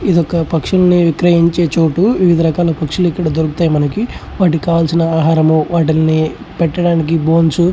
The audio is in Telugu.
ఇది ఒక పక్షులు విక్రయించే చోటు వివిధ రకాల పక్షులు ఇక్కడ దొరుకుతాయి. మనకి వాటికీ కావాల్సిన ఆహారం వాటిని పెట్టడానికి బోన్స్ --